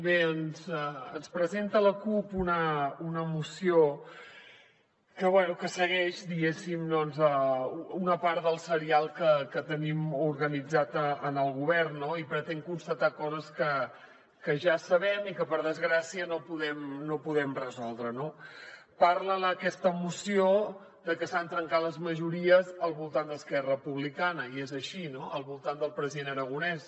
bé ens presenta la cup una moció que bé segueix diguéssim una part del serial que tenim organitzat en el govern i pretén constatar coses que ja sabem i que per desgràcia no podem resoldre no parla aquesta moció de que s’han trencat les majories al voltant d’esquerra republicana i és així no al voltant del president aragonès